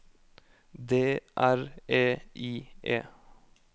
D R E I E